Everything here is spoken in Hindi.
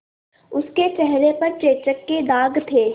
उसके चेहरे पर चेचक के दाग थे